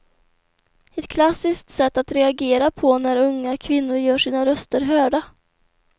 Ett klassiskt sätt att reagera på när unga kvinnor gör sina röster hörda.